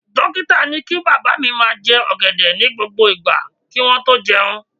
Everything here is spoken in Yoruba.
Dókítà ni kí bàbá mi máa jẹ ọ̀gẹ̀dẹ̀ ní gbogbo ìgbà kí wọ́n tó jẹun